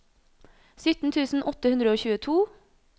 sytten tusen åtte hundre og tjueto